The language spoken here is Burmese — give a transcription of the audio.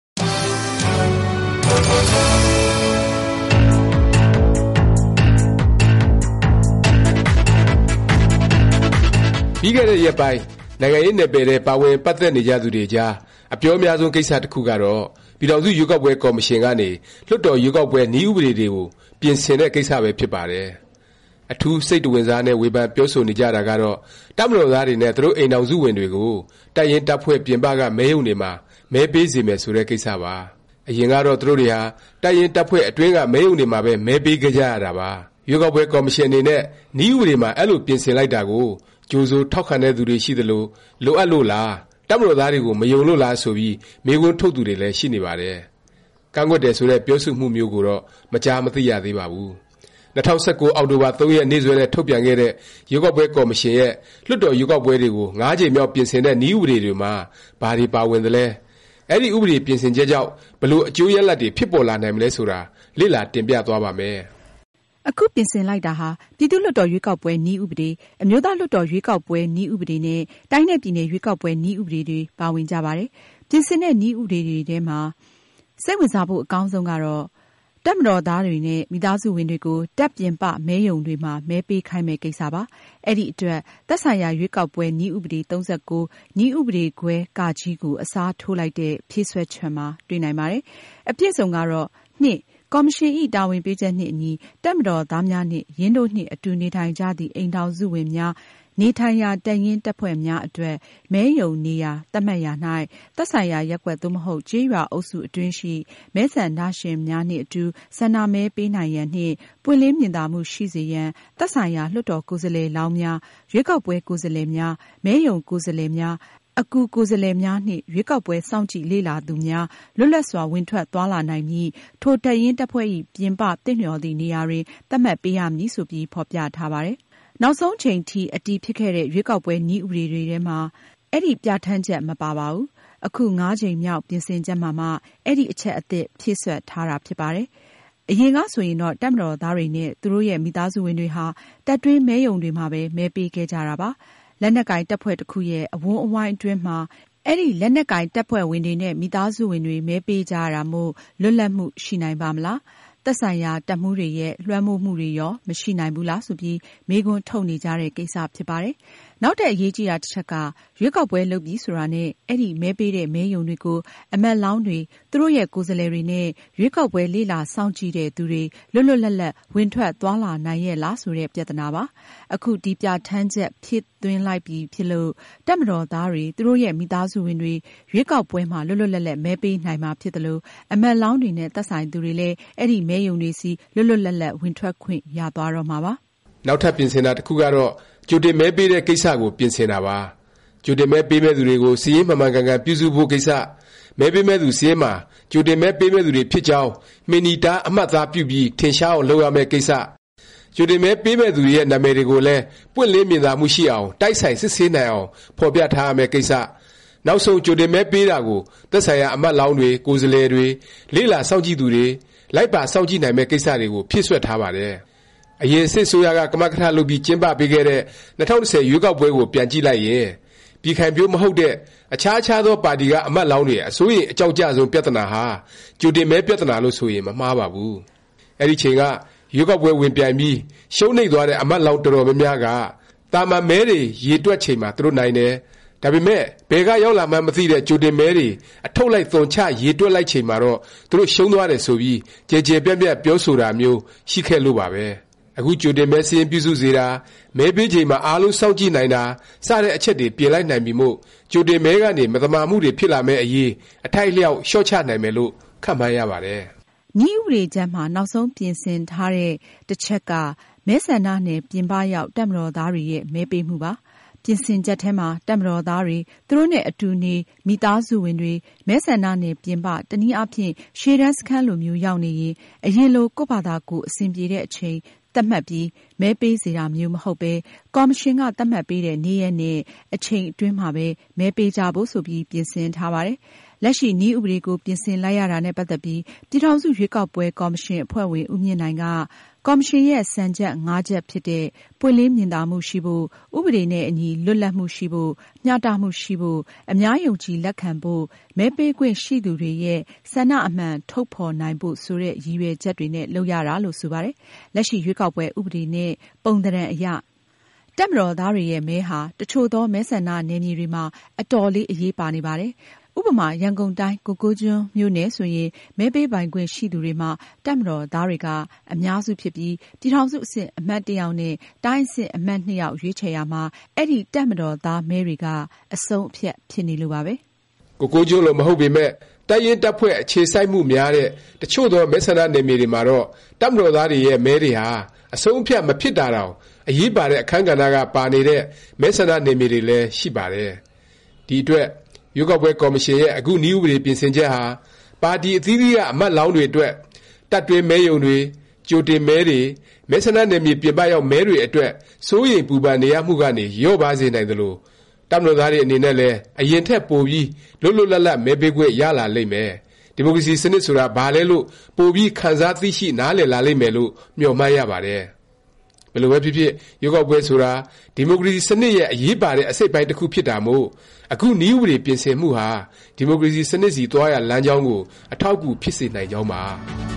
ပြီးခဲ့တဲ့ ရက်ပိုင်း နိုင်ငံရေး နယ်ပယ်ထဲ ပါဝင် ပတ်သက်နေသူတွေကြား အပြောများဆုံး ကိစ္စ တစ်ခုကတော့ ပြည်ထောင်စု ရွေးကောက်ပွဲ ကော်မရှင်ကနေ လွှတ်တော် ရွေးကောက်ပွဲ နည်းဥပဒေ တွေကို ပြင်ဆင်တဲ့ ကိစ္စပဲ ဖြစ်ပါတယ်။ အထူး စိတ်တဝင်စားနဲ့ ဝေဖန် ပြောဆိုနေကြတာကတော့ တပ်မတော်သားတွေနဲ့ သူတို့ အိမ်ထောင်စုဝင်တွေကို တပ်ရင်းတပ်ဖွဲ့ ပြင်ပက မဲရုံတွေမှာ မဲပေးစေမယ် ဆိုတဲ့ ကိစ္စပါ။ အရင်ကတော့ သူတို့တွေဟာ တပ်ရင်း၊ တပ်ဖွဲ့ အတွင်းက မဲရုံတွေမှာပဲ မဲပေးခဲ့ကြရတာပါ။ ရွေးကောက်ပွဲ ကော်မရှင်အနေနဲ့ နည်းဥပဒေမှာ အဲလို ပြင်ဆင်လိုက်တာကို ကြိုဆို ထောက်ခံတဲ့သူတွေ ရှိသလို၊ လိုအပ်လို့လား၊ တပ်မတော်သားတွေကို မယုံလို့လား ဆိုပြီး မေးခွန်းထုတ်သူတွေလည်း ရှိနေပါတယ်။ ကန့်ကွက်တယ်ဆိုတဲ့ ပြောဆိုမှုမျိုးကိုတော့ မကြားမသိရသေးပါဘူး။ ၂၀၁၉ အောက်တိုဘာ ၃ ရက် နေ့စွဲနဲ့ ထုတ်ပြန်ခဲ့တဲ့ ရွေးကောက်ပွဲ ကော်မရှင်ရဲ့ လွှတ်တော် ရွေးကောက်ပွဲတွေကို ၅ ကြိမ်မြောက် ပြင်ဆင်တဲ့ နည်းဥပဒေ တွေမှာ ဘာတွေ ပါဝင်သလဲ၊ အဲဒီ ဥပဒေ ပြင်ဆင်ချက်ကြောင့် ဘယ်လို အကျိုးရလာဒ်တွေ ဖြစ်ပေါ်လာနိုင်မလဲ ဆိုတာ လေ့လာ တင်ပြသွားပါ့မယ်။ အခု ပြင်ဆင်လိုက်တာဟာ ပြည်သူ့လွှတ်တော် ရွေးကောက်ပွဲ နည်းဥပဒေ၊ အမျိုးသားလွှတ်တော် ရွေးကောက်ပွဲ နည်းဥပဒေ နဲ့ တိုင်းနဲ့ ပြည်နယ် ရွေးကောက်ပွဲ နည်းဥပဒေ တွေ ပါဝင်ကြပါတယ်။ ပြင်ဆင်တဲ့ နည်းဥပဒေတွေထဲမှာ စိတ်ဝင်စားဖို့ အကောင်းဆုံးကတော့ တပ်မတော်သားတွေနဲ့ မိသားစုဝင်တွေကို တပ်ပြင်ပ မဲရုံတွေမှာ မဲပေးခိုင်းမယ့် ကိစ္စပါ။ အဲဒီ အတွက် သက်ဆိုင်ရာ ရွေးကောက်ပွဲ နည်းဥပဒေ ၃၉၊ နည်းဥပဒေခွဲ ကို အစားထိုးလိုက်တဲ့ ဖြည့်စွက်ချက်မှာ တွေ့နိုင်ပါတယ်။ အပြည့်အစုံကတော့ “ ကော်မရှင်ဇ။် တာဝန်ပေးချက်နှင့် အညီ တပ်မတော်သားများနှင့် ယင်းတို့နှင့် အတူနေထိုင်ကြသည့် အိမ်ထောင်စုဝင်များ နေထိုင်ရာ တပ်ရင်း တပ်ဖွဲ့များအတွက် မဲရုံနေရာ သတ်မှတ်ရာ၌ သက်ဆိုင်ရာ ရပ်ကွက် သို့မဟုတ် ကျေးရွာ အုပ်စု အတွင်းရှိ မဲဆန္ဒရှင်များနှင့် အတူ ဆန္ဒမဲ ပေးနိုင်ရန်နှင့် ပွင့်လင်းမြင်သာမှု ရှိစေရန် သက်ဆိုင်ရာ လွှတ်တော်ကိုယ်စားလှယ်လောင်းများ၊ ရွေးကောက်ပွဲ ကိုယ်စားလှယ်များ၊ မဲရုံကိုယ်စားလှယ်များ၊ အကူကိုယ်စားလှယ်များနှင့် ရွေးကောက်ပွဲ စောင့်ကြည့် လေ့လာသူများ လွတ်လပ်စွာ ဝင်ထွက် သွားလာနိုင်မည့် ထို တပ်ရင်းတပ်ဖွဲ့ဇ။် ပြင်ပ သင့်လျော်သည့်နေရာတွင် သတ်မှတ်ပေးရမည်။ ” ဆိုပြီး ဖော်ပြထားပါတယ်။ နောက်ဆုံးချိန်ထိ အတည်ဖြစ်ခဲ့တဲ့ ရွေးကောက်ပွဲ နည်းဥပဒေတွေမှာ အဲဒီ ပြဌာန်းချက် မပါပါဘူး။ အခု ၅ ကြိမ်မြောက် ပြင်ဆင်ချက်မှာမှ အဲဒီ အချက် အသစ် ဖြည့်စွက်ထားတာ ဖြစ်ပါတယ်။ အရင်က ဆိုရင်တော့ တပ်မတော်သားတွေနဲ့ သူတို့ရဲ့ မိသားစုဝင်တွေဟာ တပ်တွင်းမဲရုံတွေမှာပဲ မဲပေးခဲ့ကြတာပါ။ လက်နက်ကိုင် တပ်ဖွဲ့တစ်ခုရဲ့ အဝန်းအဝိုင်း အတွင်းမှာ အဲဒီ လက်နက်ကိုင် တပ်ဖွဲ့ဝင်တွေနဲ့ မိသားစုဝင်တွေ မဲပေးကြရတာမို့ လွတ်လပ်မှု ရှိနိုင်ပါ့မလား၊ သက်ဆိုင်ရာ တပ်မှူးတွေရဲ့ လွှမ်းမိုးမှုတွေရော မရှိနိုင်ဘူးလား ဆိုပြီး မေးခွန်းထုတ်နေကြတဲ့ ကိစ္စဖြစ်ပါတယ်။ နောက်ထပ် အရေးကြီးတာ တစ်ချက်က ရွေးကောက်ပွဲ လုပ်ပြီဆိုတာနဲ့ အဲဒီ မဲပေးတဲ့ မဲရုံတွေကို အမတ်လောင်းတွေ၊ သူတို့ရဲ့ ကိုယ်စားလှယ်တွေ နဲ့ ရွေးကောက်ပွဲ လေ့လာစောင့်ကြည့်တဲ့သူတွေ လွတ်လွတ်လပ်လပ် ဝင်ထွက် သွားလာနိုင်ရဲ့လား ဆိုတဲ့ ပြသနာပါ။ အခု ဒီ ပြဌာန်းချက် ဖြည့်သွင်းလိုက်ပြီဖြစ်လို့ တပ်မတော်သားတွေ၊ သူတို့ရဲ့ မိသားစုဝင်တွေ ရွေးကောက်ပွဲမှာ လွတ်လွတ်လပ်လပ် မဲပေးနိုင်မှာ ဖြစ်သလို၊ အမတ်လောင်းတွေနဲ့ သက်ဆိုင်သူတွေလည်း အဲဒီ မဲရုံတွေဆီ လွတ်လွတ်လပ်လပ် ဝင်ထွက်ခွင့် ရသွားတော့မှာပါ။ နောက်ထပ် ပြင်ဆင်တာ တစ်ခုကတော့ ကြိုတင်မဲပေးတဲ့ ကိစ္စကို ပြင်ဆင်တာပါ။ ကြိုတင်မဲ ပေးမယ့်သူတွေကို စာရင်း မှန်မှန်ကန်ကန် ပြုစုဖို့ ကိစ္စ၊ မဲပေးမယ့်သူ စာရင်းမှာ ကြိုတင်မဲ ပေးမယ့်သူတွေ ဖြစ်ကြောင်း မှင်နီတား အမှတ်အသားပြုပြီး ထင်ရှားအောင် လုပ်ရမယ့် ကိစ္စ၊ ကြိုတင်မဲပေးမယ့် သူတွေရဲ့ နာမည်တွေကိုလည်း ပွင့်လင်းမြင်သာမှုရှိအောင်၊ တိုက်ဆိုင် စစ်ဆေးနိုင်အောင် ဖော်ပြထားရမယ့် ကိစ္စ၊ နောက်ဆုံး ကြိုတင်မဲ ပေးတာကို သက်ဆိုင်ရာ အမတ်လောင်းတွေ၊ ကိုယ်စားလှယ်တွေ၊ လေ့လာစောင့်ကြည့်သူတွေ လိုက်ပါ စောင့်ကြည့်နိုင်မယ့် ကိစ္စတွေကို ဖြည့်စွက်ထားပါတယ်။ အရင် စစ်အစိုးရက ကမကထ လုပ်ပြီး ကျင်းပပေးခဲ့တဲ့ ၂၀၁၀ ရွေးကောက်ပွဲကို ပြန်ကြည့်လိုက်ရင် ပြည်ခိုင်ဖြိုး မဟုတ်တဲ့ အခြားအခြားသော ပါတီက အမတ်လောင်းတွေ အစိုးရိမ် အကြောင့်ကျဆုံး ပြသနာဟာ ကြိုတင်မဲ ပြသနာလို့ ဆိုရင် မမှားပါဘူး။ အဲဒီအချိန်က ရွေးကောက်ပွဲ ဝင်ပြိုင်ပြီး ရှုံးနိမ့်သွားတဲ့ အမတ်လောင်း အတော်များများက သာမန် မဲတွေ ရေတွက်ချိန်မှာ သူတို့ နိုင်တယ်၊ ဒါပေမယ့် ဘယ်က ရောက်လာမှန်း မသိတဲ့ ကြိုတင်မဲတွေ အထုတ်လိုက် သွန်ချ ရေတွက်လိုက်ချိန်မှာတော့ သူတို့ ရှုံးသွားတယ်ဆိုပြီး ကျယ်ကျယ်ပြန့်ပြန့် ပြောဆိုတာမျိုး ရှိခဲ့လို့ပါပဲ။ အခု ကြိုတင်မဲ စာရင်းပြုစုစေတာ၊ မဲပေးချိန်မှာ အားလုံး စောင့်ကြည့်နိုင်တာ စတဲ့ အချက်တွေ ပြင်လိုက်နိုင်ပြီမို့ ကြိုတင်မဲကနေ မသမာမှုတွေ ဖြစ်လာမယ့် အရေး အထိုက်အလျောက် လျော့ချနိုင်မယ်လို့ ခန့်မှန်းရပါတယ်။ နည်းဥပဒေကြမ်းမှာ နောက်ဆုံး ပြင်ထားတဲ့ တစ်ချက်က မဲဆန္ဒနယ် ပြင်ပရောက် တပ်မတော်သားတွေရဲ့ မဲပေးမှုပါ။ ပြင်ဆင်ချက်ထဲမှာ တပ်မတော်သားတွေ၊ သူတို့နဲ့ အတူနေ မိသားစုဝင်တွေ မဲဆန္ဒနယ် ပြင်ပ၊ တနည်းအားဖြင့် ရှေ့တန်း စခန်းလိုမျိုး ရောက်နေရင် အရင်လို၊ ကိုယ့်ဖာသာကိုယ် အဆင်ပြေတဲ့အချိန် သတ်မှတ်ပြီး မဲပေးစေတာမျိုး မဟုတ်ပဲ၊ ကော်မရှင်က သတ်မှတ်ပေးတဲ့ နေ့ရက်နဲ့ အချိန် အတွင်းမှာပဲ မဲပေးကြဖို့ ဆိုပြီး ပြင်ဆင်ထားပါတယ်။ လက်ရှိ နည်းဥပဒေကို ပြင်ဆင်လိုက်ရတာနဲ့ ပတ်သက်ပြီး ပြည်ထောင်စု ရွေးကောက်ပွဲ ကော်မရှင် အဖွဲ့ဝင် ဦးမြင့်နိုင်က ကော်မရှင်ရဲ့ စံ၅ချက်ဖြစ်တဲ့ ပွင့်လင်းမြင်သာမှုရှိဖို့၊ ဥပဒေနဲ့အညီ လွတ်လပ်မှုရှိဖို့၊ မျှတမှုရှိဖို့၊ အများယုံကြည် လက်ခံဖို့၊ မဲပေးခွင့်ရှိသူတွေရဲ့ ဆန္ဒအမှန် ထုတ်ဖော်နိုင်ဖို့ ဆိုတဲ့ ရည်ရွယ်ချက်တွေနဲ့ လုပ်ရတာလို့ ဆိုပါတယ်။ လက်ရှိ ရွေးကောက်ပွဲ ဥပဒေ နဲ့ ပုံသဏ္ဍာန်အရ တပ်မတော်သားတွေရဲ့ မဲဟာ တစ်ချို့သော မဲဆန္ဒနယ်မြေတွေမှာ အတော်လေး အရေးပါနေပါတယ်။ ဥပမာ ရန်ကုန်တိုင်း ကိုကိုးကျွန်းမြို့နယ် ဆိုရင် မဲပေးပိုင်ခွင့်ရှိသူတွေမှာ တပ်မတော်သားတွေက အများစုဖြစ်ပြီး ပြည်ထောင်စု အဆင့် အမတ် တစ်ယောက်နဲ့ တိုင်းအဆင့် အမတ် ၂ ယောက်ရွေးချယ်ရာမှာ အဲဒီ တပ်မတော်သားမဲတွေက အဆုံးအဖြတ် ဖြစ်နေလို့ပါပဲ။ ကိုကိုးကျွန်း လို မဟုတ်ပေမယ့် တပ်ရင်း တပ်ဖွဲ့ အခြေစိုက်မှုများတဲ့ တစ်ချို့သော မဲဆန္ဒနယ်မြေတွေမှာတော့ တပ်မတော်သားတွေရဲ့ မဲတွေဟာ အဆုံးအဖြတ် မဖြစ်တာတောင် အရေးပါတဲ့ အခန်းကဏ္ဍ က ပါနေတဲ့ မဲဆန္ဒနယ်မြေတွေလည်း ရှိပါတယ်။ ဒီအတွက် ရွေးကောက်ပွဲ ကော်မရှင်ရဲ့ အခု နည်းဥပဒေ ပြင်ဆင်ချက်ဟာ ပါတီ အသီးသီးက အမတ်လောင်းတွေ အတွက် တပ်တွင်းမဲရုံတွေ၊ ကြိုတင်မဲတွေ၊ မဲဆန္ဒနယ်မြေ ပြင်ပရောက် မဲတွေ အတွက် စိုးရိမ်ပူပန်နေရမှုကနေ လျော့ပါးစေနိုင်သလို၊ တပ်မတော်သားတွေ အနေနဲ့လည်း အရင်ထက် ပိုပြီး လွတ်လွတ်လပ်လပ် မဲပေးခွင့် ရလာလိမ့်မယ်၊ ဒီမိုကရေစီ စနစ်ဆိုတာ ဘာလဲလို့ ပိုပြီး ခံစားသိရှိ နားလည်လာလိမ့်မယ်လို့ မျှော်မှန်းရပါတယ်။ ဘယ်လိုပဲဖြစ်ဖြစ် ရွေးကောက်ပွဲ ဆိုတာ ဒီမိုကရေစီ စနစ်ရဲ့ အရေးပါတဲ့ အစိတ်အပိုင်း တစ်ခု ဖြစ်တာမို့ အခု နည်းဥပဒေ ပြင်ဆင်မှုဟာ ဒီမိုကရေစီ စနစ်ဆီ သွားရာ လမ်းကြောင်းကို အထောက်အကူ ဖြစ်စေနိုင်ကြောင်းပါ